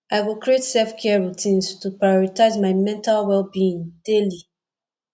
i go create selfcare routines to prioritize my mental wellbeing daily